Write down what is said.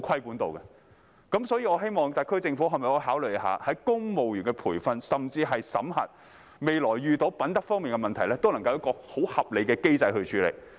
故此，我希望特區政府可否在公務員培訓，甚至審核方面作出考慮，若未來遇到品德問題，都能夠有一個很合理的機制處理。